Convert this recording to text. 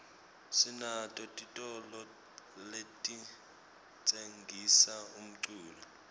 sinato titolo letitsengisa umculo